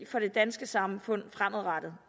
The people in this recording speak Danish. for det danske samfund fremadrettet